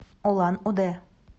улан удэ